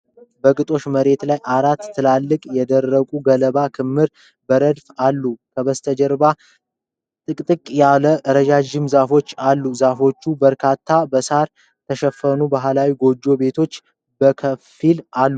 በግጦሽ መሬት ላይ አራት ትላልቅ የደረቁ ገለባ ክምርዎች በረድፍ አሉ። ከበስተጀርባ ጥቅጥቅ ያሉ ረዣዥም ዛፎች አሉ። ከዛፎቹ በታች በሳር የተሸፈኑ ባህላዊ ጎጆ ቤቶች በከፊልአሉ።